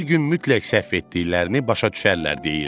Bir gün mütləq səhv etdiklərini başa düşərlər deyirdi.